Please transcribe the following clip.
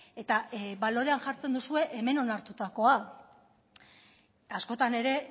eta balorean jartzen duzue hemen onartutakoa askotan ere